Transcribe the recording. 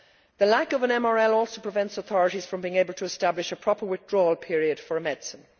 The lack of an MRL also prevents authorities from being able to establish a proper withdrawal period for a medicine.